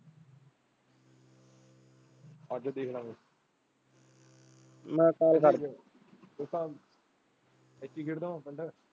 ਅੱਜ ਦੇਖਦਾ ਆ ਮੈਂ ਤਾਂ .